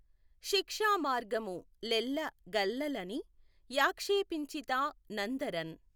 శిక్షామార్గము లెల్ల గల్ల లని యాక్షేపించితా నందఱన్